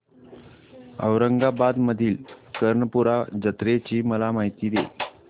औरंगाबाद मधील कर्णपूरा जत्रेची मला माहिती दे